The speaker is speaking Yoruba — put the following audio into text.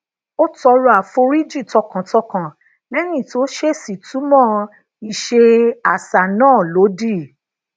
ó tọrọ àforíjì tọkàntọkàn léyìn tó ṣeeṣi tunmo ise asa naa lodi